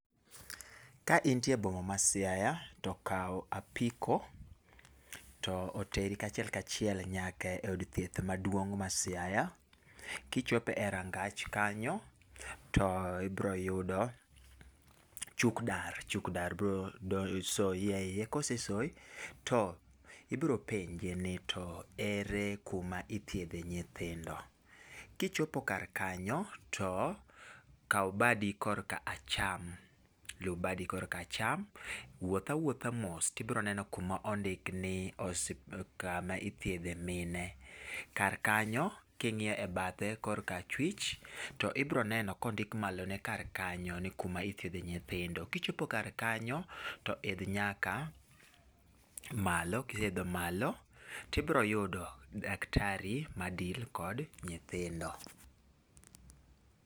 Ka intie e boma ma Siaya to kaw apiko to oteri achiel kachiel nyaka od thieth maduong' ma Siaya. Kichopo e rangach kanyo, to ibiro yudo ochuk dar, ochuk dar biro soyi eiye. Kosesoyi, to ibiro penje ni to ere kuma ithiedhe nyithindo. Kichopo kar kanyo to kaw badi korka acham. Luw badi korka acham, wuoth awuotha mos to ibiro neno kuma ondik ni kama ithiedhe mine. Kar kanyo, king'iyo bathe korka achwich to ibiro neno kondik malone kar kanyo ni kuma ithiedhe nyithindo. Kichopo kar kanyo to idh nyaka malo, kiseidho malo to ibiro yudo daktari ma deal kod nyithindo.